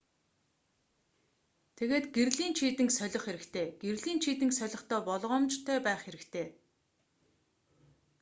тэгээд гэрлийн чийдэнг солих хэрэгтэй гэрлийн чийдэнг солихдоо болгоомжтой байх хэрэгтэй